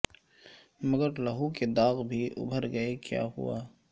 مگر لہو کے داغ بھی ابھر گئے کیا ہوا